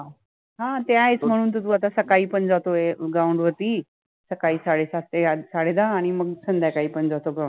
हा ते आहेच, मणुन तर तु आता सकाळि पन जातोय ground वरति, सकाळि साडे सात ते आठ साडे दहा आणि मंग संध्याकाळि पन जातोय